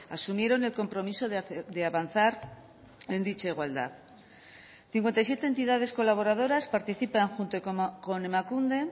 asumieron el compromiso de avanzar en dicha igualdad cincuenta y siete entidades colaboradoras participan junto con emakunde